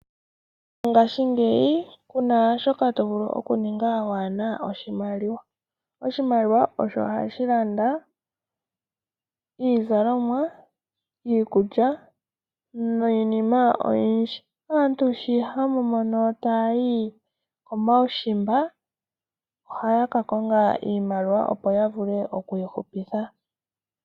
Mongashingeyi ku na shoka to vulu okuninga waa na oshimaliwa. Oshimaliwa osho hashi landa iizalomwa, iikulya niinima oyindji. Aantu sho hamu mono taya yi komaushimba ohaya ka konga iimaliwa opo ya vule okwiihupitha.